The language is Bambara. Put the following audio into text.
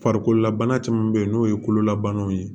Farikololabana caman be yen n'o ye kololabanaw ye